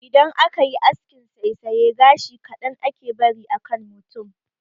Idan aka yi askin saisaya, gashi kaɗan ake bari a kan mutum.